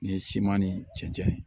Ni siman ni cɛncɛn ye